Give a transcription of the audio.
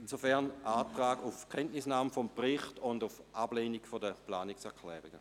Insofern lautet der Antrag auf Kenntnisnahme des Berichts und auf Ablehnung der Planungserklärungen.